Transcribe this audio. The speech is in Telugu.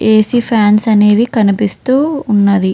ఏసి ఫాన్స్ అనేవి కనిపిస్తూ ఉన్నవి.